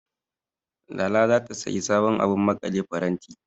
Lala ta zata sayi sabon abun maƙale faranti.